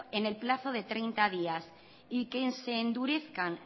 en el plazo de treinta días y que se endurezcan